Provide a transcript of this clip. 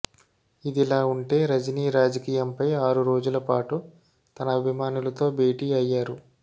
ఇదిలా ఉంటే రజనీ రాజకీయంపై ఆరు రోజుల పాటు తన అభిమానులతో భేటీ అయ్యారు